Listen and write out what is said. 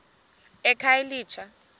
ekhayelitsha